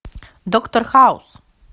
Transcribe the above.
доктор хаус